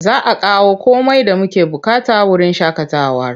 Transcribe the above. Za a kawo komai da muke buƙata wurin shaƙatawar.